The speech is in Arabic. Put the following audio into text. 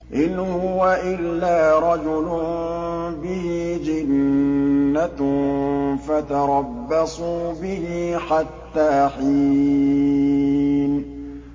إِنْ هُوَ إِلَّا رَجُلٌ بِهِ جِنَّةٌ فَتَرَبَّصُوا بِهِ حَتَّىٰ حِينٍ